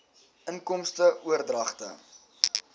inkomste oordragte